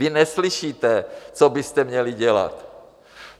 Vy neslyšíte, co byste měli dělat.